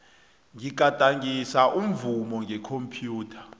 ngigadangisa umvumo ngekhomphyutha